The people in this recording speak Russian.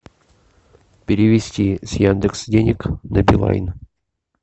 перевести с яндекс денег на билайн